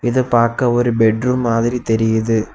இத பாக்க ஒரு பெட்ரூம் மாதிரி தெரியிது.